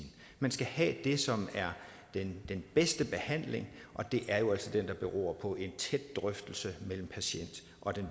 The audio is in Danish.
man skal have det som er den bedste behandling og det er jo altså den der beror på en tæt drøftelse mellem patienten og den